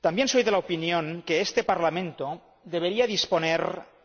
También soy de la opinión de que este Parlamento debería disponer